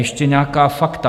Ještě nějaká fakta.